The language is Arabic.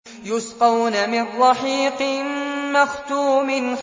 يُسْقَوْنَ مِن رَّحِيقٍ مَّخْتُومٍ